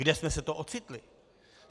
Kde jsme se to ocitli?